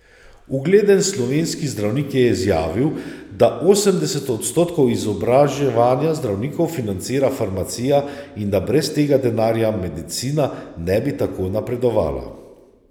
Ugleden slovenski zdravnik je izjavil, da osemdeset odstotkov izobraževanja zdravnikov financira farmacija in da brez tega denarja medicina ne bi tako napredovala.